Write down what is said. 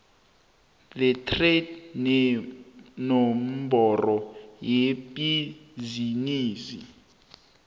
lestrada nenomboro yebhizinisi